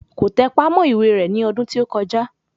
Kò tẹpá mọ́ ìwé rẹ̀ ní ọdún tí ó kọjá